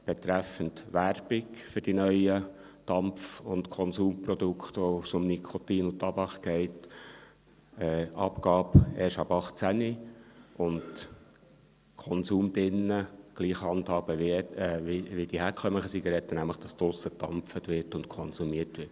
Dies betrifft: Werbung für die neuen Dampf- und Konsumprodukte, bei denen es um Nikotin und Tabak geht, Abgabe erst ab 18 Jahren, den Konsum drinnen gleich handhaben wie bei den herkömmlichen Zigaretten, nämlich, dass draussen gedampft und konsumiert wird.